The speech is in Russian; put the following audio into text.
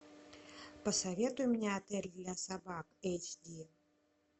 посоветуй мне отель для собак эйч ди